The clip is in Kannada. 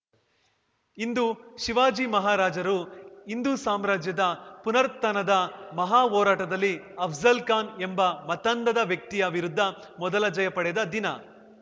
ಇಂದು ಶಿವಾಜಿ ಮಹಾರಾಜರು ಹಿಂದೂ ಸಾಮ್ರಾಜ್ಯದ ಪುನರುತ್ಥಾನದ ಮಹಾ ಹೋರಾಟದಲ್ಲಿ ಅಫ್ಜಲ್‌ಖಾನ್‌ ಎಂಬ ಮತಾಂಧದ ವ್ಯಕ್ತಿಯ ವಿರುದ್ಧ ಮೊದಲ ಜಯ ಪಡೆದ ದಿನ